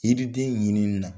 Yiriden ɲinini na